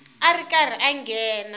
a ri karhi a nghena